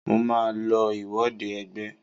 Mo màá lo ìwọde ẹgbẹ́.